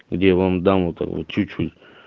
где я вам дам этого чуть-чуть